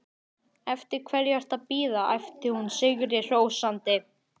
Eftir hverju ertu að bíða? æpti hún sigrihrósandi.